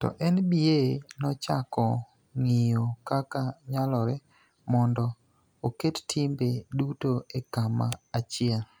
To NBA nochako ng�iyo kaka nyalore mondo oket timbe duto e kama achiel,